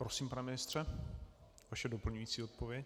Prosím, pane ministře, vaše doplňující odpověď.